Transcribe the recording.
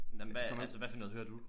Nej men hvad altså hvad for noget hører du